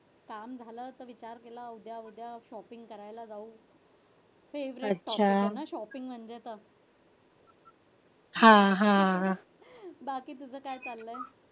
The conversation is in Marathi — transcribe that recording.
काम झालं कि असं विचार केला उभ्या उभ्या shopping करायला जाऊ. बाकी तुझं काय चाललय?